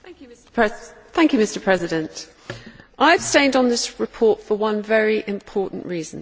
Mr President, I abstained on this report for one very important reason.